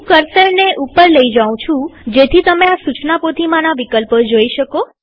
હું કર્સરને ઉપર લઇ જાઉં જેથી તમે આ સુચના પોથીમાના વિકલ્પો જોઈ શકો